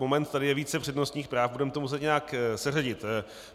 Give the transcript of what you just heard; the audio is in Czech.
Moment, tady je více přednostních práv, budeme to muset nějak seřadit.